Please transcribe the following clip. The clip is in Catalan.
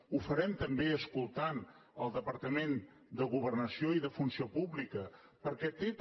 ho farem també escoltant el departament de governació i de funció pública perquè té també